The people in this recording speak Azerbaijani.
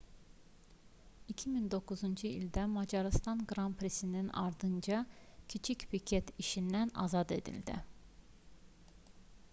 2009-cu ildə macarıstan qran prisinin ardınca kiçik piket işindən azad edildi